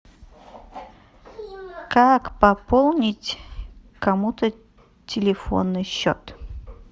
как пополнить кому то телефонный счет